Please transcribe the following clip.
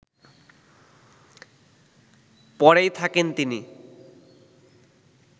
পরেই থাকেন তিনি